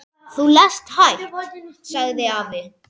Þú lest hægt, sagði afi.